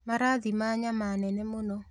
Marathima nyama nene mũno